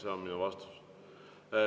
See on minu vastus.